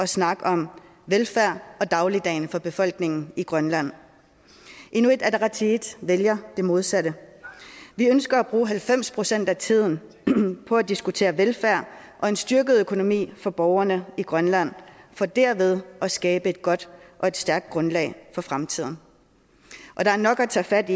snakke om velfærd og dagligdagen for befolkningen i grønland inuit ataqatigiit vælger det modsatte vi ønsker at bruge halvfems procent af tiden på at diskutere velfærd og en styrket økonomi for borgerne i grønland for derved at skabe et godt og et stærkt grundlag for fremtiden der er nok at tage fat